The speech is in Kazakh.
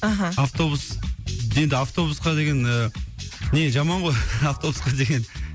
аха автобус енді автобусқа деген ііі не жаман ғой автобусқа деген